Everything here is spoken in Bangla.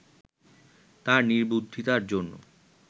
তার নির্বুদ্ধিতার জন্য